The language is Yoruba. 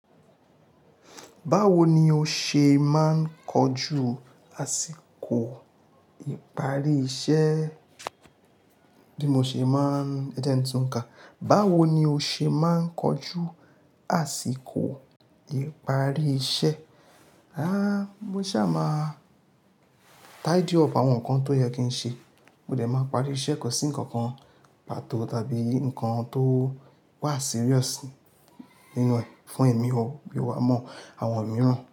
Báwo ni o ṣe máa ń kọjú àsìkò ìparí iṣẹ́? Bí mo ṣe má ń ẹ jẹ ń tún kà. Báwo ni o ṣe máa ń kojú àsìkò ìparí iṣẹ́? Rárá, mo ṣà máà tidy up àwọn nǹkan tó yẹ kí n ṣe. Mo dẹ̀ máa parí iṣẹ́ kò sí ǹkankan pàtó tàbí ǹkan tó wà serious nínú rẹ̀ fún ẹ̀mí o, mi wàá mọ àwọn mìíràn.